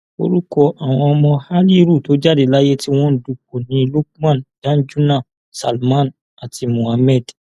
orúkọ àwọn ọmọ haliru tó jáde láyé tí wọn ń dúpó ni lukman danjuna salman àti mohammed